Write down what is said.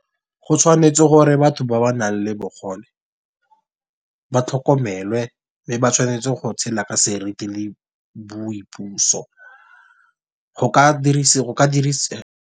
Go tshwanetse gore batho ba ba nang le bogole ba tlhokomele mme ba tshwanetse go tshela ka seriti le boipuso go ka dirisi.